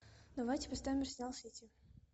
давайте поставим арсенал сити